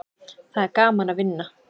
Það er gaman að vinna.